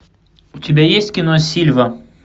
у тебя есть кино сильва